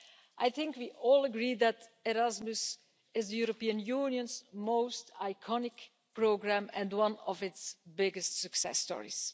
I think we all agree that Erasmus is the European Union's most iconic programme and one of its biggest success stories.